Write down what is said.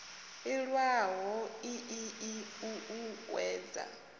iwalo ii i o uuwedza